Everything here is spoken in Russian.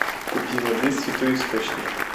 купи воды святой источник